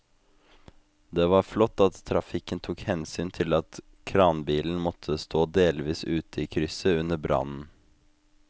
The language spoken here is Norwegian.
Det var flott at trafikken tok hensyn til at kranbilen måtte stå delvis ute i krysset under brannen.